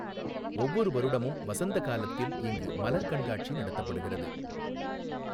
ஒவ்வொரு வருடமும் வசந்த காலத்தில் இங்கு மலர் கண்காட்சி நடத்தப்படுகிறது.